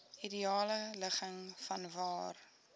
ideale ligging vanwaar